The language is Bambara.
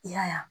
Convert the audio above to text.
I y'a ye